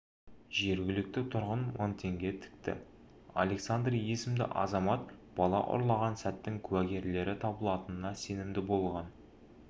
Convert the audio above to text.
жергілікті тұрғын мың теңге тікті александр есімді азамат бала ұрлаған сәттің куәгерлері табылатынына сенімді болған